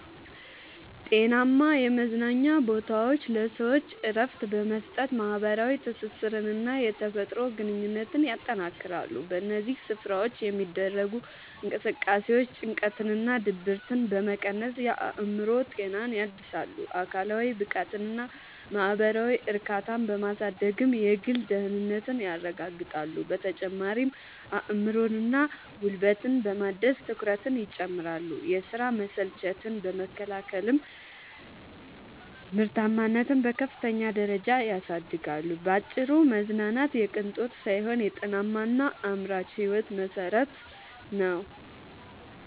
ጤናማ የመዝናኛ ቦታዎች ለሰዎች እረፍት በመስጠት፣ ማኅበራዊ ትስስርንና የተፈጥሮ ግንኙነትን ያጠናክራሉ። በእነዚህ ስፍራዎች የሚደረጉ እንቅስቃሴዎች ጭንቀትንና ድብርትን በመቀነስ የአእምሮ ጤናን ያድሳሉ፤ አካላዊ ብቃትንና ማኅበራዊ እርካታን በማሳደግም የግል ደህንነትን ያረጋግጣሉ። በተጨማሪም አእምሮንና ጉልበትን በማደስ ትኩረትን ይጨምራሉ፤ የሥራ መሰልቸትን በመከላከልም ምርታማነትን በከፍተኛ ደረጃ ያሳድጋሉ። ባጭሩ መዝናናት የቅንጦት ሳይሆን የጤናማና አምራች ሕይወት መሠረት ነው።